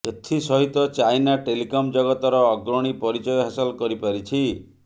ଏଥିସହିତ China telecom ଜଗତର ଅଗ୍ରଣୀ ପରିଚୟ ହାସଲ କରିପାରିଛି